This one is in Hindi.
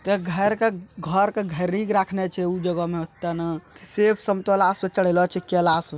एता घर के सेब संतोला सब चढ़ेएला छै।